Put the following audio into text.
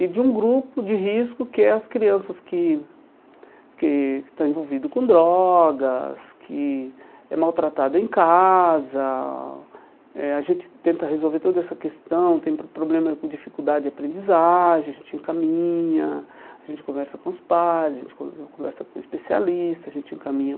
e de um grupo de risco que é as crianças que que estão envolvidas com drogas, que é maltratada em casa, eh a gente tenta resolver toda essa questão, tenta tem problema com dificuldade de aprendizagem, a gente encaminha, a gente conversa com os pais, a gente conversa com especialistas, a gente encaminha